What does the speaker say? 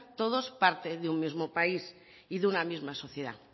todos parte de un mismo país y de una misma sociedad